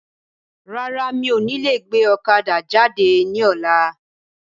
Rárá, mi ò ní lè gbé ọ̀kadà jáde ní ọ̀la.